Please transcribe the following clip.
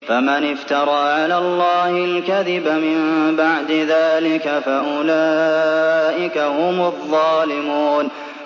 فَمَنِ افْتَرَىٰ عَلَى اللَّهِ الْكَذِبَ مِن بَعْدِ ذَٰلِكَ فَأُولَٰئِكَ هُمُ الظَّالِمُونَ